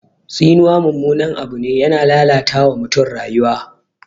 Tsinuwa mummunan abu ne, yana lalata wa mutum rayuwa.